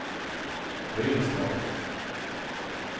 Virestad